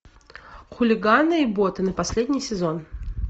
хулиганы и ботаны последний сезон